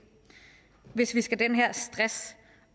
hvis vi skal den her stress